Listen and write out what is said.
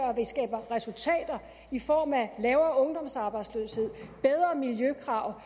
at vi skaber resultater i form af lavere ungdomsarbejdsløshed bedre miljøkrav